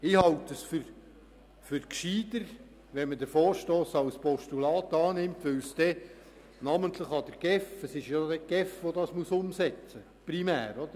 Ich halte es für gescheiter, wenn man den Vorstoss als Postulat annimmt, weil er namentlich die GEF und nicht mehr die POM betreffen wird.